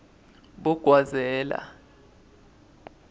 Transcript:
bogwazela